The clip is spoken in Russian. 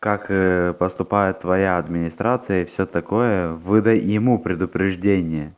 как поступает твоя администрация и всё такое выдай ему предупреждение